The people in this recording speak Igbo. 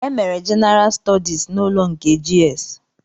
E mere Jenara stọdis n'ụlọ nke GS